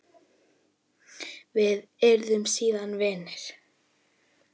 Við urðum síðan vinir.